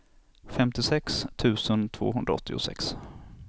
femtiosex tusen tvåhundraåttiosex